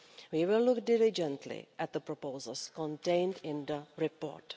We will look diligently at the proposals contained in the report.